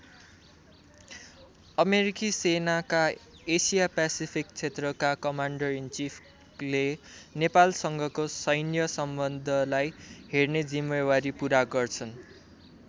अमेरिकी सेनाका Asia Pacific क्षेत्रका कमान्डर इनचिफले नेपालसँगको सैन्य सम्बन्धलाई हेर्ने जिम्मेवारी पूरा गर्छन्।